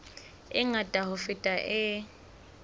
e ngata ho feta e